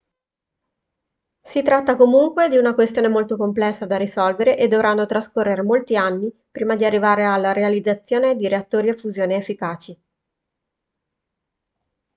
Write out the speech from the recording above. si tratta comunque di una questione molto complessa da risolvere e dovranno trascorrere molti anni prima di arrivare alla realizzazione di reattori a fusione efficaci